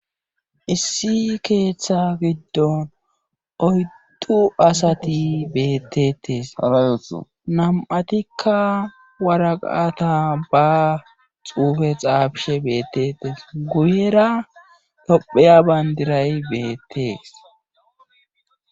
Issi keeththa giddon oyttu asati bettettes nam7atikka waraqata ba xuufe xaabishe beettettes guyera topheya bayndiray beettees.